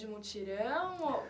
De mutirão? Ou